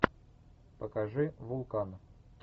покажи вулкан